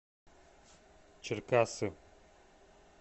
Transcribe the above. черкассы